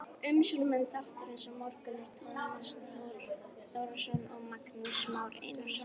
Umsjónarmenn þáttarins á morgun eru Tómas Þór Þórðarson og Magnús Már Einarsson.